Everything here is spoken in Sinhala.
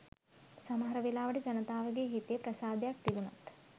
සමහර වෙලාවට ජනතාවගේ හිතේ ප්‍රසාදයක් තිබුණත්